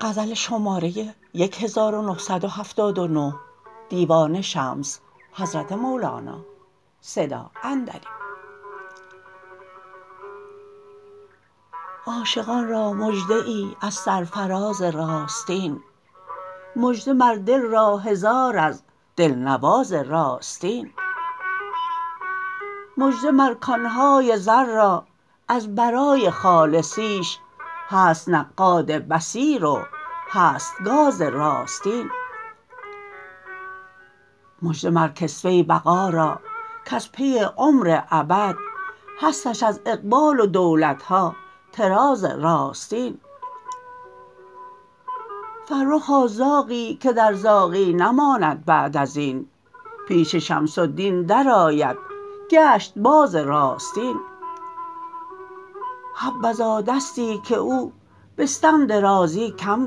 عاشقان را مژده ای از سرفراز راستین مژده مر دل را هزار از دلنواز راستین مژده مر کان های زر را از برای خالصیش هست نقاد بصیر و هست گاز راستین مژده مر کسوه بقا را کز پی عمر ابد هستش از اقبال و دولت ها طراز راستین فرخا زاغی که در زاغی نماند بعد از این پیش شمس الدین درآید گشت باز راستین حبذا دستی که او بستم درازی کم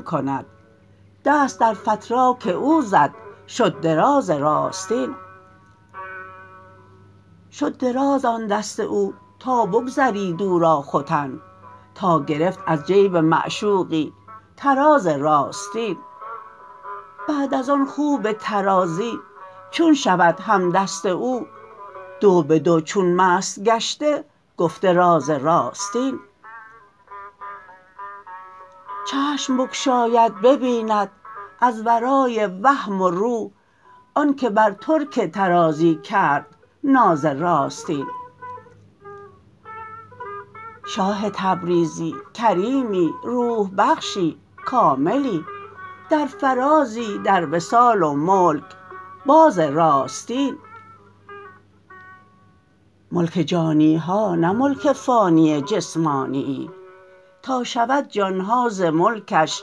کند دست در فتراک او زد شد دراز راستین شد دراز آن دست او تا بگذرید او را ختن تا گرفت از جیب معشوقی طراز راستین بعد از آن خوب طرازی چون شود همدست او دو به دو چون مست گشته گفته راز راستین چشم بگشاید ببیند از ورای وهم و روح آنک بر ترک طرازی کرد ناز راستین شاه تبریزی کریمی روح بخشی کاملی در فرازی در وصال و ملک باز راستین ملک جانی ها نه ملک فانیی جسمانیی تا شود جان ها ز ملکش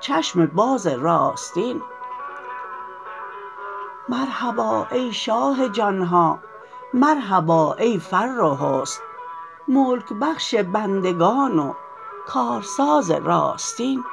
چشم باز راستین مرحبا ای شاه جان ها مرحبا ای فر و حسن ملک بخش بندگان و کارساز راستین